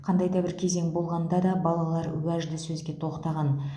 қандай да бір кезең болғанда да балалар уәжді сөзге тоқтаған